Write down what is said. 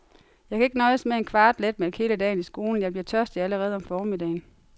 Jeg kan ikke nøjes med en kvart letmælk hele dagen i skolen, jeg bliver tørstig allerede om formiddagen.